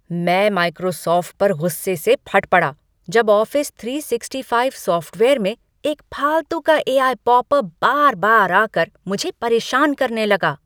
मैं माइक्रोसॉफ्ट पर गुस्से से फट पड़ा जब ऑफिस तीन सौ पैंसठ सॉफ़्टवेयर में एक फालतू का ए आई पॉपअप बार बार आ कर मुझे परेशान करने लगा।